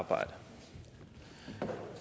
at arbejde